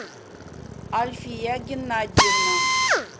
альфия геннадьевна